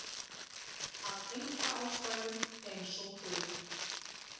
Af einkaástæðum eins og þú.